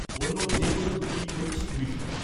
অন্য যেকোনো দুটি ঐচ্ছিক বিষয়